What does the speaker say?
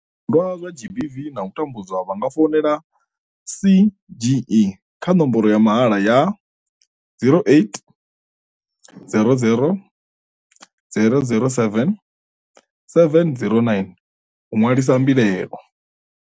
Zwipondwa zwa GBV na u tambudzwa vha nga founela CGE kha nomboro ya mahala ya 0800 007 709 u ṅwalisa mbilaelo.